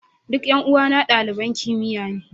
Duk 'yan uwana daliban kimiyya ne.